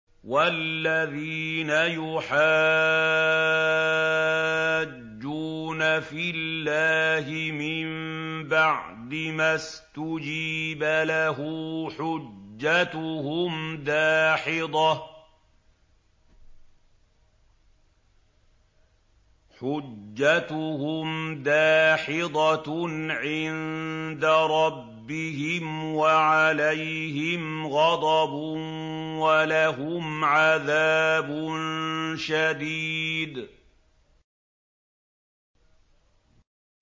وَالَّذِينَ يُحَاجُّونَ فِي اللَّهِ مِن بَعْدِ مَا اسْتُجِيبَ لَهُ حُجَّتُهُمْ دَاحِضَةٌ عِندَ رَبِّهِمْ وَعَلَيْهِمْ غَضَبٌ وَلَهُمْ عَذَابٌ شَدِيدٌ